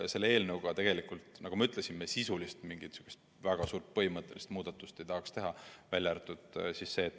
Selle eelnõuga, nagu ma ütlesin, me tegelikult mingisugust väga suurt põhimõttelist sisulist muudatust teha ei taha.